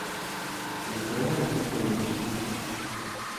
николай викторович усов